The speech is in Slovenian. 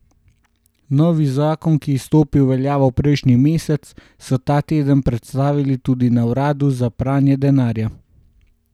Novi zakon, ki je stopil v veljavo prejšnji mesec, so ta teden predstavili tudi na uradu za pranje denarja.